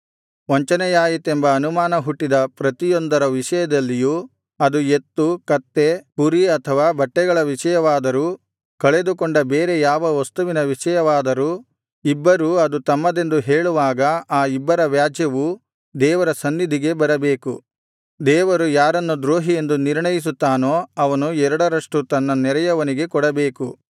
ವಂಚನೆಯಾಯಿತೆಂಬ ಅನುಮಾನ ಹುಟ್ಟಿದ ಪ್ರತಿಯೊಂದರ ವಿಷಯದಲ್ಲಿಯೂ ಅದು ಎತ್ತು ಕತ್ತೆ ಕುರಿ ಅಥವಾ ಬಟ್ಟೆಗಳ ವಿಷಯವಾದರೂ ಕಳೆದುಕೊಂಡ ಬೇರೆ ಯಾವ ವಸ್ತುವಿನ ವಿಷಯವಾದರೂ ಇಬ್ಬರು ಅದು ತಮ್ಮದೆಂದು ಹೇಳುವಾಗ ಆ ಇಬ್ಬರ ವ್ಯಾಜ್ಯವು ದೇವರ ಸನ್ನಿಧಿಗೆ ಬರಬೇಕು ದೇವರು ಯಾರನ್ನು ದ್ರೋಹಿಯೆಂದು ನಿರ್ಣಯಿಸುತ್ತಾನೋ ಅವನು ಎರಡರಷ್ಟು ತನ್ನ ನೆರೆಯವನಿಗೆ ಕೊಡಬೇಕು